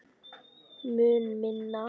Mun minna.